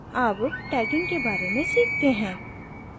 अब tagging के बारे में सीखते हैं